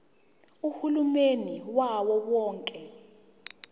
uhulumeni wawo wonke